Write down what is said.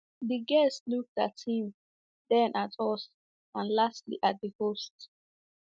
The guest looked at him, then at us, and lastly at the host.